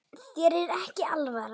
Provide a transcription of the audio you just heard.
Þér er ekki alvara